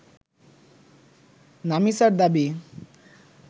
নামিসার দাবি